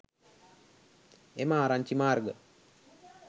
එම ආරංචි මාර්ග